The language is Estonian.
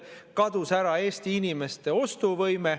Kadus ära Eesti inimeste ostuvõime.